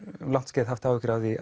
um langt skeið haft áhyggjur af því